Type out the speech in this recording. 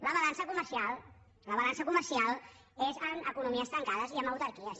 la balança comercial la balança comercial és en economies tancades i en autarquies